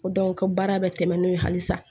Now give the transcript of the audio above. O ko baara bɛ tɛmɛ n'o ye halisa